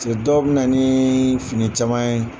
dɔw bɛ na ni fini caman ye.